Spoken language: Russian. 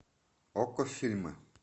окко фильмы